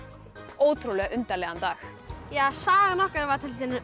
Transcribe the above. ótrúlega undarlegan dag sagan okkar var